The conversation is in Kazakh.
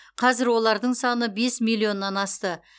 қазір олардың саны бес миллионнан асты